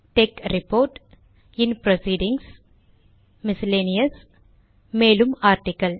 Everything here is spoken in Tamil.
tech ரிப்போர்ட் இன் புரோசீடிங்ஸ் மிஸ்செலேனியஸ் மேலும் ஆர்டிக்கிள்